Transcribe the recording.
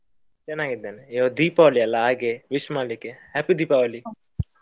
ಚೆನ್ನಾಗಿದ್ದೇನೆ ಇವತ್ತು ದೀಪಾವಳಿ ಅಲ್ಲ ಹಾಗೆ wish ಮಾಡ್ಲಿಕ್ಕೆ. happy ದೀಪಾವಳಿ.